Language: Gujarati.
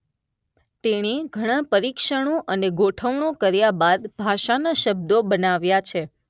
તેણે ઘણાં પરીક્ષણો અને ગોઠવણો કર્યા બાદ ભાષાના શબ્દો બનાવ્યા છે.